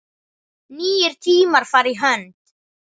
Nýir tímar fara í hönd